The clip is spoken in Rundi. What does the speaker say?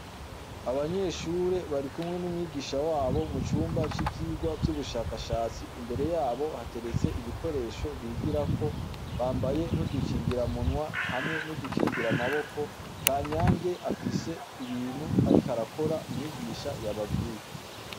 Abanyeshure bari kumwe n'umwigisha wabo mu cumba c'ivyirwa vy'ubushakashatsi imbere yabo hateretse ibikoresho bigirako bambaye ntudukingira munwa hamwe N’udukingira amaboko kanyange afise ibintu ariko arakora myigisha yababwire.